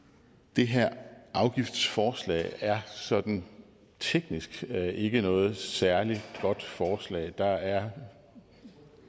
det her afgiftsforslag sådan teknisk ikke er noget særlig godt forslag der er og